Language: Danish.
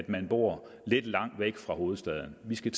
man bor lidt langt væk fra hovedstaden vi skal